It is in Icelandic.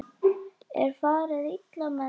Er farið illa með dýr?